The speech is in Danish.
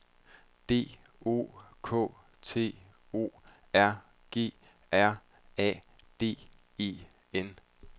D O K T O R G R A D E N